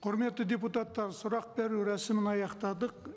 құрметті депутаттар сұрақ беру рәсімін аяқтадық